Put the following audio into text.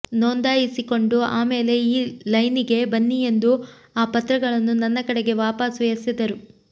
ನೋಂದಾಯಿಸಿಕೊಂಡು ಆಮೇಲೆ ಈ ಲೈನಿಗೆ ಬನ್ನಿ ಎಂದು ಆ ಪತ್ರಗಳನ್ನು ನನ್ನ ಕಡೆಗೆ ವಾಪಸು ಎಸೆದರು